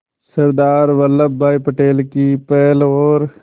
सरदार Vallabhbhai Patel की पहल और